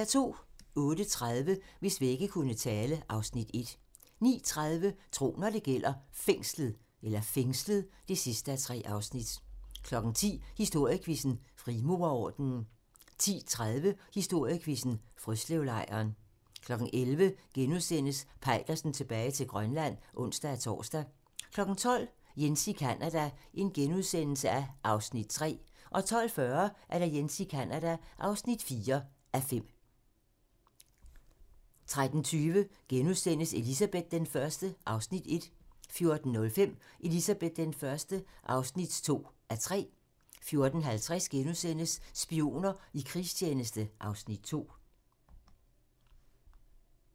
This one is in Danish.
08:30: Hvis vægge kunne tale (Afs. 1) 09:30: Tro, når det gælder: Fængslet (3:3) 10:00: Historiequizzen: Frimurerordenen 10:30: Historiequizzen: Frøslevlejren 11:00: Peitersen tilbage til Grønland *(ons-tor) 12:00: Jens i Canada (3:5)* 12:40: Jens i Canada (4:5) 13:20: Elizabeth I (1:3)* 14:05: Elizabeth I (2:3) 14:50: Spioner i krigstjeneste (Afs. 2)*